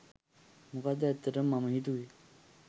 මොකද ඇත්තටම මම හිතුවෙ